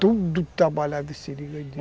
Todos trabalhavam em seringa.